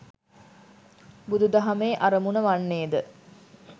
බුදු දහමේ අරමුණ වන්නේ ද